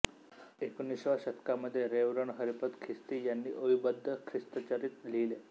एकोणिसाव्या शतकामध्ये रेव्हरंड हरिपंत खिस्ती यांनी ओवीबद्ध ख्रिस्तचरित्र लिहिले